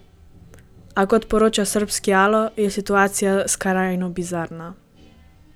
A kot poroča srbski Alo, je situacija skrajno bizarna.